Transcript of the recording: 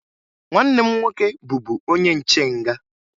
Nwanne m nwoke bụbu onye nche nga.